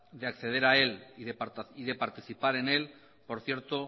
de acceder a él y de participar en él por cierto